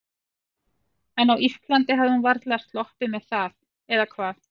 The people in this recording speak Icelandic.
En á Íslandi hefði hún varla sloppið með það, eða hvað?